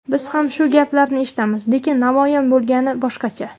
Biz ham shu gaplarni eshitamiz, lekin namoyon bo‘lgani boshqacha.